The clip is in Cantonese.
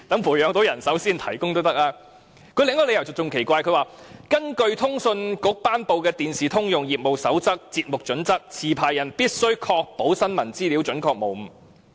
無綫提出的另一個理由更奇怪，它說根據通訊事務管理局頒布的《電視通用業務守則―節目標準》，持牌人必須確保新聞資料準確無誤。